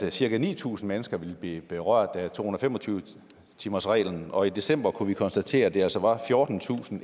at cirka ni tusind mennesker ville blive berørt af to hundrede og fem og tyve timersreglen og i december kunne vi konstatere at det altså var fjortentusinde